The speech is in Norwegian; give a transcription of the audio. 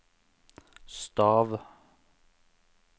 stav